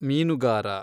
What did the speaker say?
ಮೀನುಗಾರ